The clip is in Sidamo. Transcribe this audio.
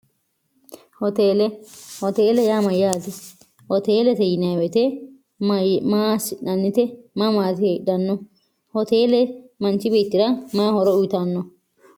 thoteele yaa mayyaati hoteelete yinewete ma shi'nannite mamaati heedhanno hoteele manchi biittira mahoro uyitanno